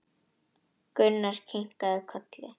Gunnar kinkaði kolli.